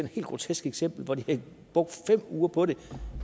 helt grotesk eksempel hvor de har brugt fem uger på det